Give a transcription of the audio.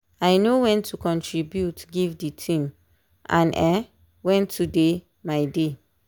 i know when to contribute give the team and um when to dey my dey.